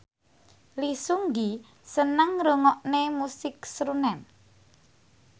Lee Seung Gi seneng ngrungokne musik srunen